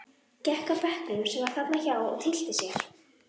Gekk að bekknum sem var þarna hjá og tyllti sér.